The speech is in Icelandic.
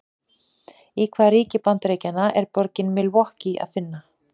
Í hvaða ríki Bandaríkjanna er borgina Milwaukee að finna?